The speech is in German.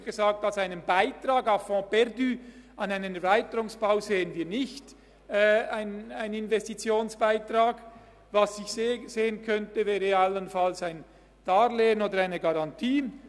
Ich sagte, dass wir einen Investitionsbeitrag à fonds perdu an einen Erweiterungsbau nicht sehen, aber allenfalls ein Darlehen oder eine Garantie.